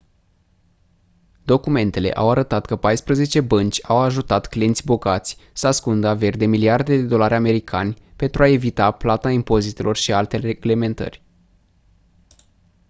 documentele au arătat că paisprezece bănci au ajutat clienți bogați să ascundă averi de miliarde de dolari americani pentru a evita plata impozitelor și alte reglementări